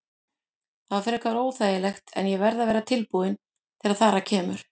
Það er frekar óþægilegt en ég verð að vera tilbúinn þegar þar að kemur.